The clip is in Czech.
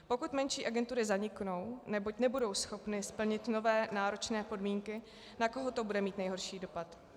Pokud menší agentury zaniknou, neboť nebudou schopny splnit nové náročné podmínky, na koho to bude mít nejhorší dopad?